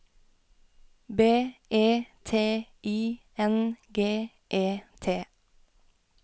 B E T I N G E T